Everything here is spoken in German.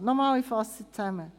Ich fasse zusammen: